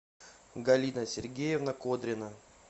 галина сергеевна кодрина